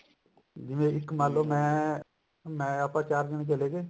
ਜਿਵੇਂ ਇੱਕ ਮੰਨਲੋ ਮੈਂ ਆਪਾਂ ਚਾਰ ਜਣੇ ਚਲੇ ਗਏ